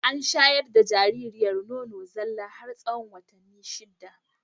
An shayar da jaririyar nono zalla har tsahon watanni shida.